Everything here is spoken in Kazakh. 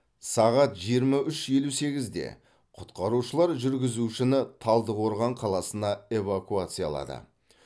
сағат жиырма үш елу сегізде құтқарушылар жүргізушіні талдықорған қаласына эвакуациялады